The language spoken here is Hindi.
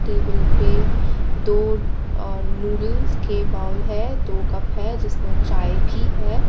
टेबल पे दो अ नूडल्स के बॉल है दो कप है जिसमें चाय भी है।